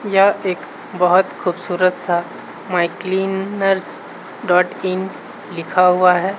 यह एक बहुत खूबसूरत सा मायक्लीनर्स डॉट इन लिखा हुआ है।